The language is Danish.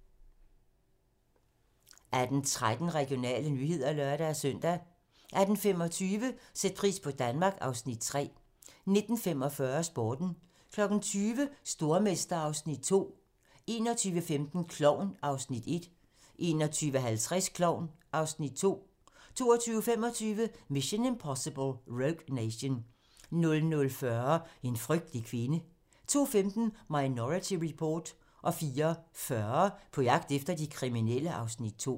18:13: Regionale nyheder (lør-søn) 18:25: Sæt pris på Danmark (Afs. 3) 19:45: Sporten 20:00: Stormester (Afs. 2) 21:15: Klovn (Afs. 1) 21:50: Klovn (Afs. 2) 22:25: Mission: Impossible - Rogue Nation 00:40: En frygtelig kvinde 02:15: Minority Report 04:40: På jagt efter de kriminelle (Afs. 2)